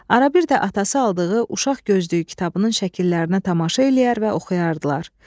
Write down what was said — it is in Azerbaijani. Ara bir də atası aldığı uşaq gözlüyü kitabının şəkillərinə tamaşa eləyər və oxuyardılar.